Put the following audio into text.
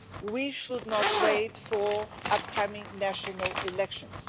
We should not wait for upcoming national elections.